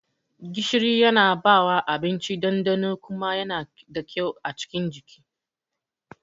Gishiri Yana bawa abinci ɗanɗano kuma Yana da kyau a cikin jiki.